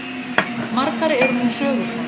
Margar eru nú sögurnar.